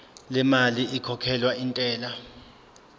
lemali ekhokhelwa intela